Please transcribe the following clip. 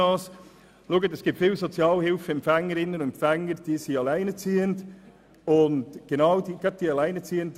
Viele Sozialhilfeempfängerinnen und -empfänger sind alleinerziehend.